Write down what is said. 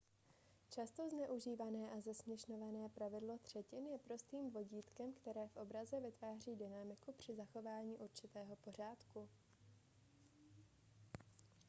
často zneužívané a zesměšňované pravidlo třetin je prostým vodítkem které v obraze vytváří dynamiku při zachování určitého pořádku